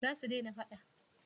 za su dena fada?